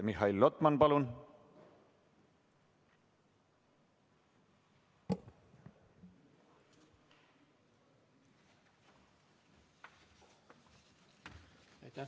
Mihhail Lotman, palun!